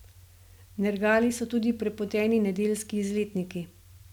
Nergali so tudi prepoteni nedeljski izletniki.